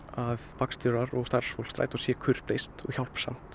vagnstjórar og starfsfólk strætó sé kurteist og